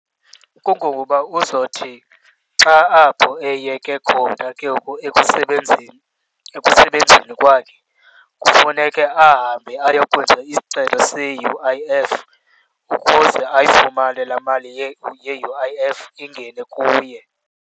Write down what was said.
Kungokuba uzothi xa apho eyeke khona ke ngoku ekusebenzeni, ekusebenzeni kwakhe, kufuneke ahambe ayokwenza isicelo se-U_I_F ukuze ayifumane laa mali ye-U_I_F ingene kuye.